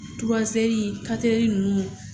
nunnu